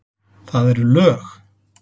Það eru lög!